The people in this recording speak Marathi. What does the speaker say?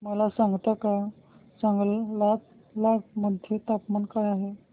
मला सांगता का चांगलांग मध्ये तापमान काय आहे